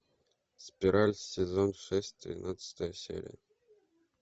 спираль сезон шесть тринадцатая серия